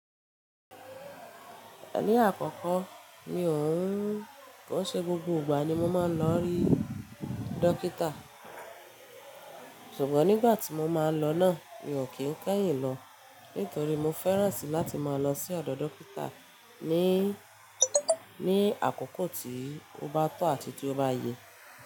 Ní àkọ́kọ́ mi ò ń kó ṣe gbogbo ìgbà ni mo máa ń lọ rí dókítà, ṣùgbọ́n nígbà tí mo máa lọ náà mi ò kí ń kẹ́yìn lọ nítorí mo fẹ́ràn láti máa lọ sí ọ̀dọ̀ dókítà ní, ní àkọ́kọ́ tí ó bá tọ́ àti tí ó bá yẹ.